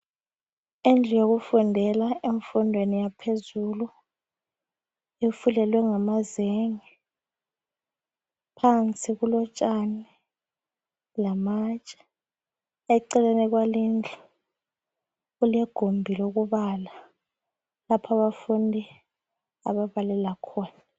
Indlu yokufundela emfundweni yaphezulu, ifulelwe ngamazenge, phansi kulo tshani lamatshe, eceleni kwalendlu kulegumbi lokubala lapho abafundi ababalela khona.